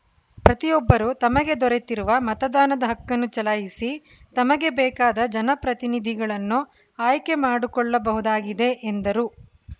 ಪ್ರತಿಯೊಬ್ಬರೂ ತಮಗೆ ದೊರೆತಿರುವ ಮತದಾನದ ಹಕ್ಕನ್ನು ಚಲಾಯಿಸಿ ತಮಗೆ ಬೇಕಾದ ಜನಪ್ರತಿನಿಧಿಗಳನ್ನು ಆಯ್ಕೆ ಮಾಡಿಕೊಳ್ಳಬಹುದಾಗಿದೆ ಎಂದರು